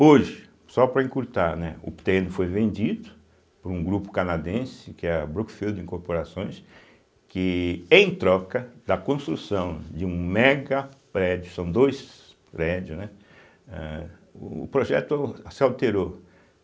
Hoje, só para encurtar, né, o terreno foi vendido para um grupo canadense, que é a Brookfield Incorporações, que em troca da construção de um mega prédio, são dois prédios, né, âh, o projeto se alterou.